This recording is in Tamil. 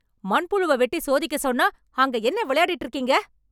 மண்புழுவை வெட்டி சோதிக்கச்சொன்னா, அங்க என்ன வெளையாடிட்டு இருக்கீங்க...